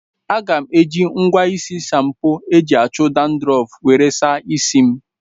Aga m eji ngwa isi shampo eji achụ dandrọfu were saa isi m